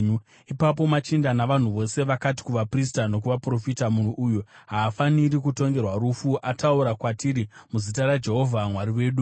Ipapo machinda navanhu vose vakati kuvaprista nokuvaprofita, “Munhu uyu haafaniri kutongerwa rufu! Ataura kwatiri muzita raJehovha Mwari wedu.”